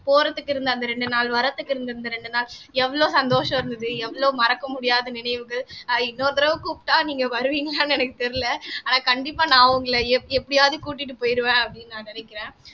போறதுக்கு இருந்த அந்த இரண்டு நாள் வரத்துக்கு இருந்த இரண்டு நாள் எவ்வளவு சந்தோஷம் இருந்தது எவ்வளவு மறக்க முடியாத நினைவுகள் அஹ் இன்னொரு தடவை கூப்பிட்டா நீங்க வருவீங்களான்னு எனக்கு தெரியலே ஆனா கண்டிப்பா நான் உங்களை எப் எப்படியாவது கூட்டிட்டு போயிடுவேன் அப்படின்னு நான் நினைக்கிறேன்